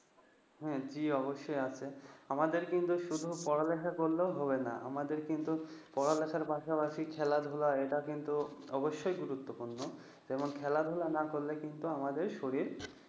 হম অতি অবশ্যই আছে আমাদের কিন্তু শুধু পড়ালেখা করলেও হবে না আমাদের কিন্তু পড়ালেখার পাশাপাশি খেলা ধুলাএটা কিন্তু অবশ্যই গুরুত্বপূর্ণ যেমন খেলাধুলা না করলে কিন্তু আমাদের শরীর